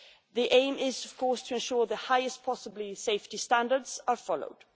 The aim is, of course, to ensure that the highest possible safety standards are followed.